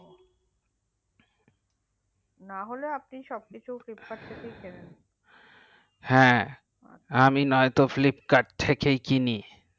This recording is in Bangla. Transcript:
না হলে আপনি সবকিছু flipkart থেকেই কেনেন হ্যা আমি নাতো সব কিছু flipkart থেকেই কিনি